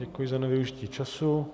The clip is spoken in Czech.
Děkuji za nevyužití času.